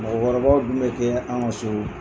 Mɔgɔkɔrɔbaw dun bɛ kɛ anw ka so